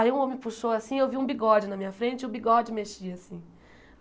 Aí um homem puxou assim, eu vi um bigode na minha frente e o bigode mexia assim.